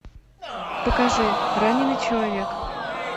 покажи раненный человек